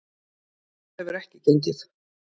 Það hefur ekki gengið.